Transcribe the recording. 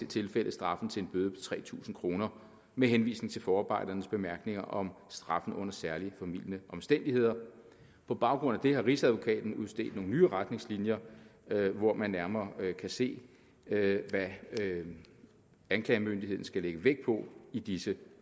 tilfælde straffen til en bøde på tre tusind kroner med henvisning til forarbejdernes bemærkninger om straffen under særlig formildende omstændigheder på baggrund af det har rigsadvokaten udstedt nogle nye retningslinjer hvor man nærmere kan se hvad anklagemyndigheden skal lægge vægt på i disse